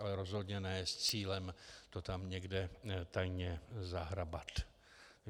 Ale rozhodně ne s cílem to tam někde tajně zahrabat.